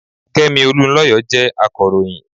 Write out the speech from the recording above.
Kẹ́mi Olunlọyọ jẹ́ akọ̀ròyìn.